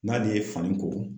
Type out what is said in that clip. N'al'i ye fani ko.